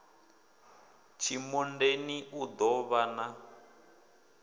tshimondeni u ḓo vhan a